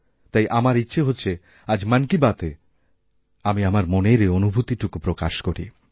তাই আমার ইচ্ছে হচ্ছে আজ মন কিবাতএ আমি আমার মনের এই অনুভূতিটুকু প্রকাশ করি